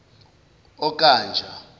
okanja